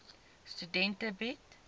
studente bied